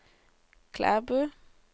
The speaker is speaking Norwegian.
Klæbu